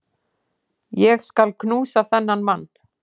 Ég skal knúsa þennan mann!